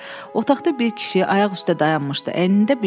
Otaqda bir kişi ayaq üstə dayanmışdı,